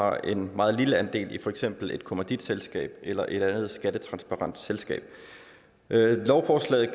har en meget lille andel i for eksempel et kommanditselskab eller et andet skattetransparent selskab lovforslaget